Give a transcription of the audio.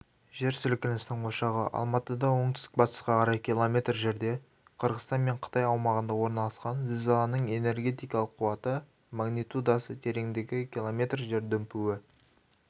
жер сілкінісінің ошағы алматыдан оңтүстік-батысқа қарай км жерде қырғызстан мен қытай аумағында орналасқан зілзаланың энергетикалық қуаты магнитудасы тереңдігі км жер дүмпуі